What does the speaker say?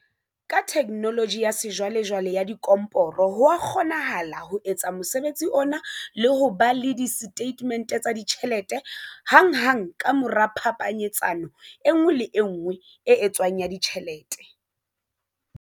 Ka theknoloji ya sejwalejwale ya dikomporo ho a kgonahala ho etsa mosebetsi ona le ho ba le disetatemente tsa ditjhelete hanghang ka mora phapanyetsano e nngwe le e nngwe e etswang ya ditjhelete.